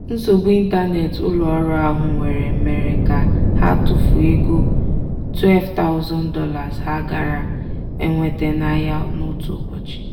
nsogbu ịntanetị ụlọọrụ ahụ nwere mere ka ha tụfuo ego $12000 ha gaara enweta n'ahịa n'otu ụbọchị.